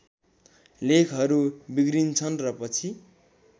लेखहरू बिग्रिन्छन् र पछि